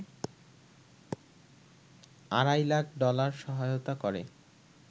আড়াই লাখ ডলার সহায়তা করে